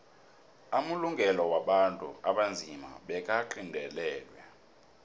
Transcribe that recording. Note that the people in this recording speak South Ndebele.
amalungelo wabantu abanzima bekagandelelwe